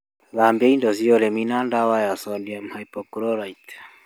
Thabia indo cĩa ũrĩmi na dawa ya sodium hypochlorite